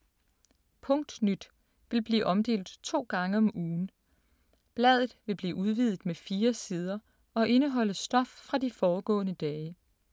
Punktnyt vil blive omdelt to gange om ugen. Bladet vil blive udvidet med fire sider og indeholde stof fra de foregående dage.